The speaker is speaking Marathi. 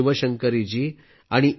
शिवशंकरीजी आणि ए